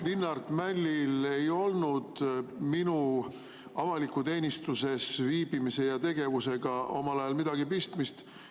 Linnart Mällil ei olnud minu avalikus teenistuses olemisega ja tegevusega omal ajal midagi pistmist.